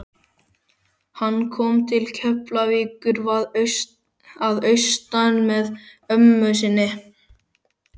Hann kom til Keflavíkur að austan með ömmu sinni.